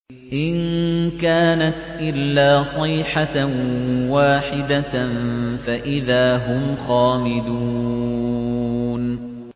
إِن كَانَتْ إِلَّا صَيْحَةً وَاحِدَةً فَإِذَا هُمْ خَامِدُونَ